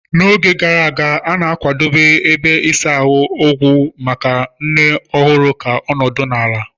N'oge gara aga, a na-akwadebe ebe ịsa ahịhịa ogwu maka nne ọhụrụ ka ọ nọdụ ala.